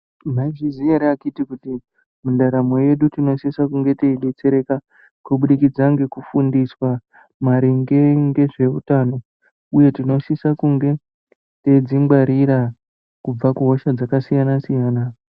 Maizviziya ere akiti kuti mundaramo yedu tino sise kunge tei detsereka kubudikidza ngeku fundiswa maringe ngezve utano uye tino sisa kunge teidzi ngwarira kubva kuhosha dzaka siyana siyana.